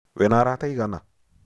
Wĩna arata aigana?